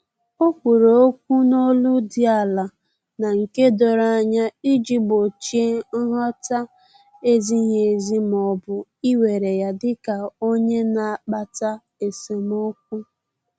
Ọ kwuru okwu n’olu dị ala na nke doro anya iji gbochie nghọta-ezighi ezi ma ọ bụ iwere ya dika onye na-akpata esemokwu